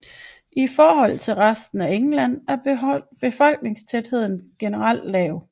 I forhold til resten af England er befolkningstætheden generelt lav